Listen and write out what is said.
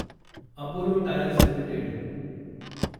Apollo tyres limited